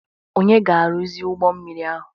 Onye ga-arụzi ụgbọ mmiri ahụ.